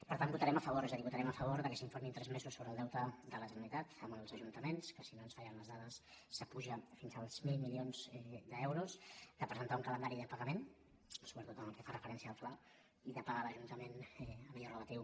per tant hi votarem a favor és a dir votarem a fa·vor que s’informi en tres mesos sobre el deute de la generalitat amb els ajuntaments que si no ens fallen les dades puja fins als mil milions d’euros de pre·sentar un calendari de pagament sobretot en el que fa referència al fla i de pagar als ajuntaments allò re·latiu